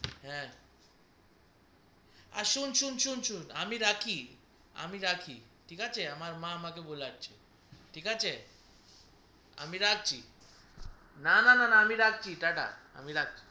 হে আর সুন সুন সুন সুন আমি রাখি আমি রাখি ঠিক আছে আমার মা আমাকে বুলাচ্ছে ঠিক আছে আমি রাখছি না না না না আমি রাখছি টা টা আমি রাখছি